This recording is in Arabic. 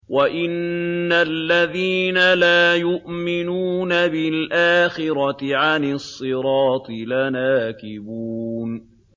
وَإِنَّ الَّذِينَ لَا يُؤْمِنُونَ بِالْآخِرَةِ عَنِ الصِّرَاطِ لَنَاكِبُونَ